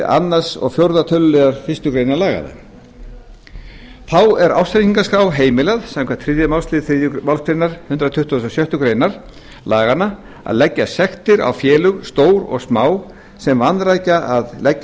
annars til fjórða tölulið fyrstu grein laganna þá er ársreikningaskrá heimilað samkvæmt þriðju málsl þriðju málsgrein hundrað tuttugasta og sjöttu grein laganna að leggja sektir á félög stór og smá sem vanrækja að leggja